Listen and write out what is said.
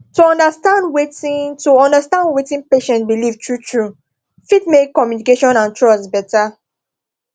to understand wetin to understand wetin patient believe truetrue fit make communication and trust better